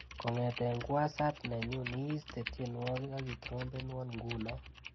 Kong'ete kwosat nenyu iiste tyenwogik akitrompenwa ngunoo.